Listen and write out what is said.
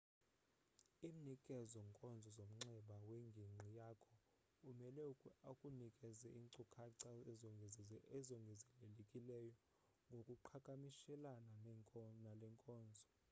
imnikezi nkonzo zomnxeba wengingqi yakho umele akunikeze inkcukacha ezongezelelekileyo ngokuqhakamishelana nalenkonzo